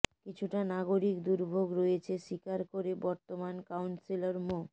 কিছুটা নাগরিক দুর্ভোগ রয়েছে স্বীকার করে বর্তমান কাউন্সিলর মো